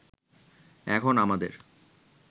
এখন আমাদের